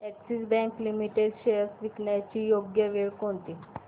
Axis bank limited shares विकण्याची योग्य वेळ कोणती